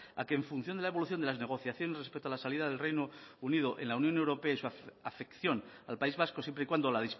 a que en función de la evolución de las negociaciones respecto a la salida del reino unido en la unión europea y en su afección al país vasco siempre y cuando la